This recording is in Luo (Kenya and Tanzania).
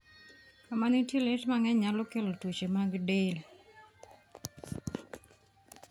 Kama nitie liet mang'eny nyalo kelo tuoche mag del.